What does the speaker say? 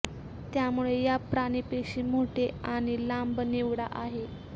त्यामुळे या प्राणी पेशी मोठे आणि लांब निवडा आहे